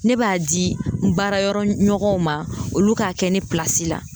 Ne b'a di n baarayɔrɔ ɲɔgɔnw ma olu k'a kɛ ne la